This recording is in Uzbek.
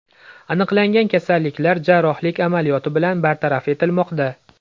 Aniqlangan kasalliklar jarrohlik amaliyoti bilan bartaraf etilmoqda.